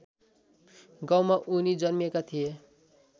गाउँमा उनी जन्मेका थिए